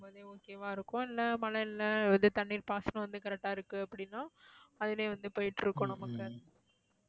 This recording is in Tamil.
இருக்கும் போதே okay வா இருக்கும் இல்ல மழை இல்ல இது தண்ணீர் பாசனம் வந்து correct ஆ இருக்கு அப்படின்னா அதுலையே வந்து போயிட்டு இருக்கும் நமக்கு